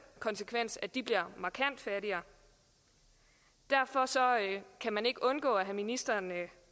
konsekvens at de bliver markant fattigere derfor kan man ikke undgå at have ministeren